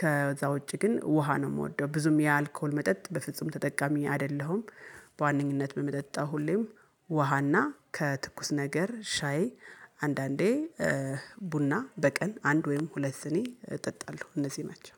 ከዛ ውጪ ግን ውሃ ነው የምወደው። ብዙም የአልኮል መጠጥ በፍጹም ተጠቃሚ አይደለሁም። በዋነኝነት በምጠጣው ሁሌም ውሃና ከትኩስ ነገር ሻይ አንዳንዴ ቡና በቀን አንድ ወይም ሁለት ሲኒ እጠጣለሁ። እነዚህ ናቸው።